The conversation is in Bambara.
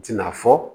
U tɛna fɔ